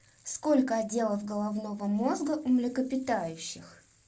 сколько отделов головного мозга у млекопитающих